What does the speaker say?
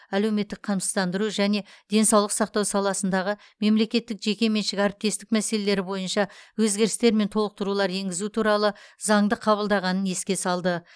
әлеуметтік қамсыздандыру және денсаулық сақтау саласындағы мемлекеттік жеке меншік әріптестік мәселелері бойынша өзгерістер мен толықтырулар енгізу туралы заңды қабылдағанын еске салды